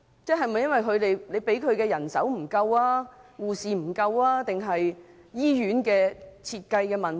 是否由於醫院獲編配的人手不足，或是醫院在設計上有問題？